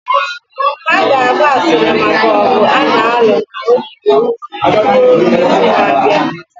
Ha ga-agba asịrị maka ọgụ a na-alụ na ogige ruo izu na-abịa